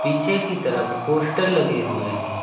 पीछे की तरफ पोस्टर लगे हुए है।